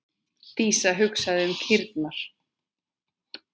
Dísa hugsaði um kýrnar.